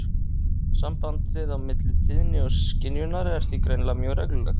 Sambandið á milli tíðni og skynjunar er því greinilega mjög reglulegt.